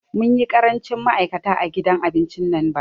Mun yi ƙarancin ma'aikata a gidan abincin nan bara